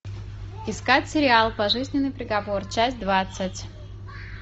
искать сериал пожизненный приговор часть двадцать